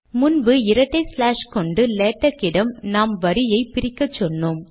முன்பு இரட்டை ஸ்லாஷ் கொண்டு லேடக் இடம் நாம் வரியை பிரிக்கச்சொன்னோம்